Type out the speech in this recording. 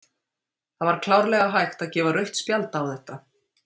Það var klárlega hægt að gefa rautt spjald á þetta.